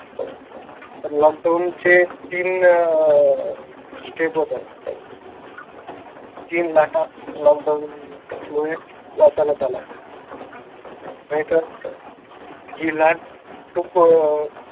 Lockdown चे तीन अह स्टेप होतात. तीन लाटा लॉकडाऊन मुळे वाचवण्यात आल्या. नाहीतर हि लाट खूप अह